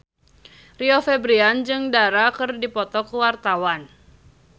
Rio Febrian jeung Dara keur dipoto ku wartawan